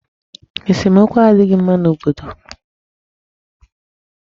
Esomokwu adịghị mma n'obodo.